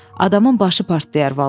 Adamın başı partlayar vallah.